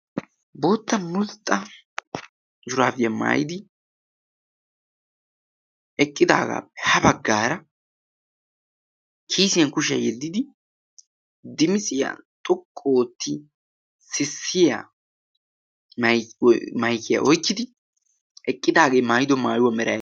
bootta mulxxa yuraafiyaa maayidi eqqidaagaappe ha baggaara kiisiyan kushiyaa yeddidi dimisiyaa xoqqooti sissiya maikiyaa oikkidi eqqidaagee maayido maayuwaa mera